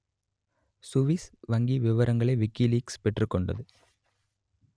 Swiss வங்கி விவரங்களை WikiLeaks பெற்றுக் கொண்டது